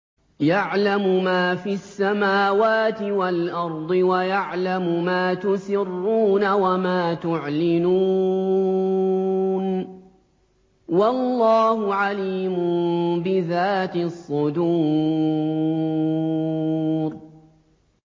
يَعْلَمُ مَا فِي السَّمَاوَاتِ وَالْأَرْضِ وَيَعْلَمُ مَا تُسِرُّونَ وَمَا تُعْلِنُونَ ۚ وَاللَّهُ عَلِيمٌ بِذَاتِ الصُّدُورِ